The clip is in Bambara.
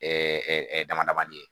damadama de ye